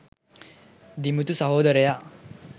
දිමුතු සහෝදරයා.